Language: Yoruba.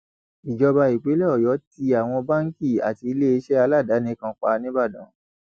ìjọba ìpínlẹ ọyọ tí àwọn báńkì àti iléeṣẹ aládàáni kan pa nìbàdàn